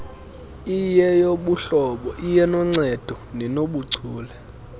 iyeyobuhlobo iyenoncedo nenobuchule